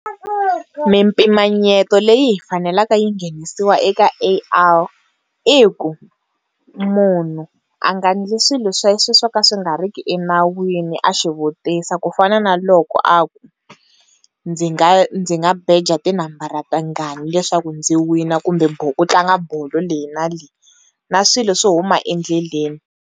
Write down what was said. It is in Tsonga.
Mimpimanyeto leyi faneleke yi nghenisiwa eka A_I i ku munhu a nga ndli swilo swa swoka swi nga riki enawini a swivutisa ku fana na loko a ku, ndzi nga ndzi nga beja tinambara tinghani leswaku ndzi wina kumbe ku tlanga bolo leyi na leyi na swilo swo huma endleleni.